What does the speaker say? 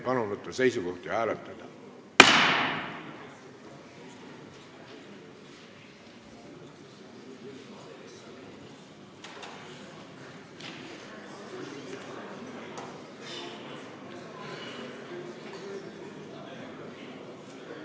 Palun võtta seisukoht ja hääletada!